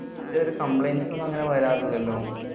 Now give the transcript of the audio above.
ഇതുവരെ complaints ഒന്നും അങ്ങനെ വരാറില്ലല്ലോ.